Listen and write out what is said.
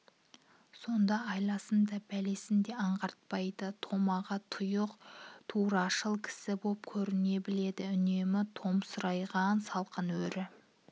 сонда айласын да бәлесін де аңғартпайды томаға-тұйық турашыл кісі боп көріне біледі үнемі томсарған салқын өрі